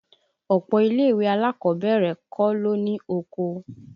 Ọ̀pọ̀ ilé ìwé alákọ̀ọ́bẹ̀rẹ̀ kọ́ ló ní oko